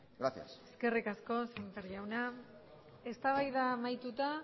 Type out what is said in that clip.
gracias eskerrik asko sémper jauna eztabaida amaituta